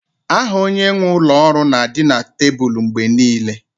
Aha onye nwe ụlọ ọrụ na-adị na tebụl mgbe niile